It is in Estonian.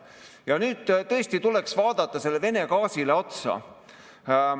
Ja nüüd tõesti tuleks vaadata sellele Vene gaasile otsa.